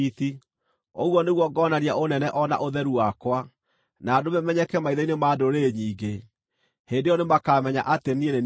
Ũguo nĩguo ngoonania ũnene o na ũtheru wakwa, na ndũme menyeke maitho-inĩ ma ndũrĩrĩ nyingĩ. Hĩndĩ ĩyo nĩmakamenya atĩ niĩ nĩ niĩ Jehova.’